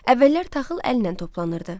Əvvəllər taxıl əllə toplanırdı.